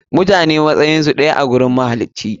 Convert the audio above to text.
Mutane matsayinsu ɗaya a gurin mahalici.